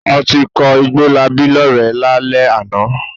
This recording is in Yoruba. A ti kọ Igbólabí lọ́rẹ̀ẹ́ lálẹ́ àná.